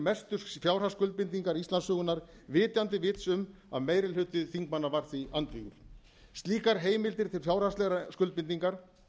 mestu fjárhagsskuldbindingar íslandssögunnar vitandi vits um að meiri hluti þingmanna var því andvígur slíkar heimildir til fjárhagslegrar skuldbindingar